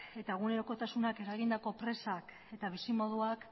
eta egunerokotasunak eragindako presak eta bizimoduak